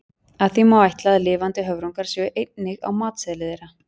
Af því má ætla að lifandi höfrungar séu einnig á matseðli þeirra.